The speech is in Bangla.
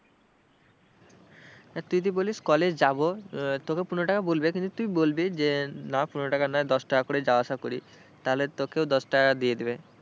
তুই যদি বলিস college যাবো তোকে পনেরো টাকা বলবে কিন্তু তুই বলবি যে না পনেরো টাকা নয় দশ টাকা করে যাওয়া আসা করি, তাহলে তোকেও দশ টাকা দিয়ে দেবে।